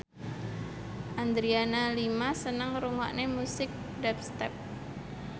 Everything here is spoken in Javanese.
Adriana Lima seneng ngrungokne musik dubstep